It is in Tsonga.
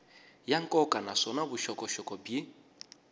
ya nkoka naswona vuxokoxoko byi